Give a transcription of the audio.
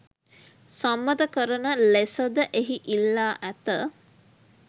සම්මත කරන ලෙස ද එහි ඉල්ලා ඇත